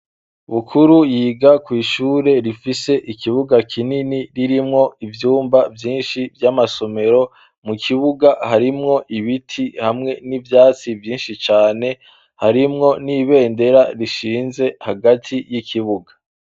Bukuru yiga kw'ishure rifise ikibuga kinini ririmwo ivyumba vyinshi vy'amasomero mu kibuga harimwo ibiti hamwe n'ivyatsi vyinshi cane harimwo n'ibendera rishinze hagati y'ikibuga.